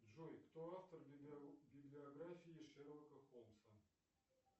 джой кто автор библиографии шерлока холмса